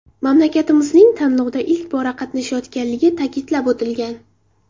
Mamlakatimizning tanlovda ilk bora qatnashayotganligi ta’kidlab o‘tilgan.